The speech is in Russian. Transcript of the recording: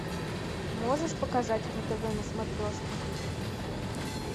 можешь показать ру тв на смотрешке